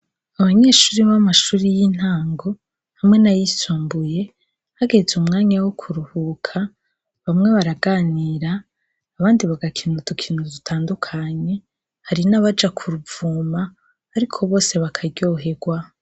Abanyeshure bo mumashure y’intango hamwe n’ayisumbuye, hageze umwanya wo kuruhuka bamwe baraganira abandi bagakina udukino dutandukanye, hari n’abaja kuruvuma ariko bose bakaryoherwa.